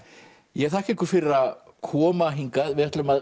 ég þakka ykkur fyrir að koma hingað við ætlum að